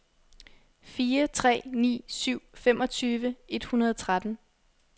fire tre ni syv femogtyve et hundrede og tretten